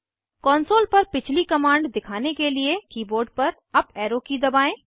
console पर पिछली command दिखाने के लिए कीबोर्ड पर अप एरो की दबाएं